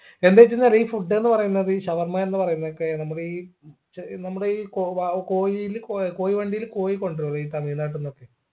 എന്താ വെചിന്നറിയ ഈ food ന്ന് പറയുന്നത് ഷവർമ എന്ന് പറയുന്നതൊക്കെ നമ്മളീ ച് നമ്മുടെ ഈ കോവാവ് കോഴീൽ കൊയ കോഴി വണ്ടീല് കോഴി കൊണ്ടരൂലേ ഈ തമിഴ് നാട്ടിന്നൊക്കെ